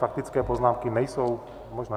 Faktické poznámky nejsou možné.